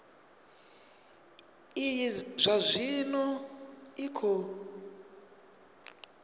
iyi zwa zwino i khou